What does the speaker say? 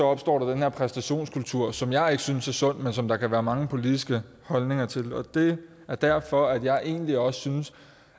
opstår der den her præstationskultur som jeg ikke synes er sund men som der kan være mange politiske holdninger til det er derfor at jeg egentlig også synes